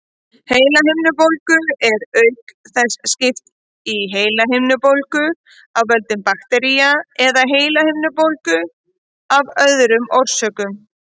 Heilahimnubólgu er auk þess skipt í heilahimnubólgu af völdum baktería og heilahimnubólgu af öðrum orsökum.